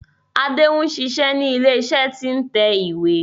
Adé n ṣiṣé ni ilé iṣé tí n tẹ ìwé.